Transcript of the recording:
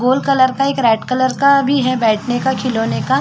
gold colour का एक red colour का भी है बैठने का खिलौने का --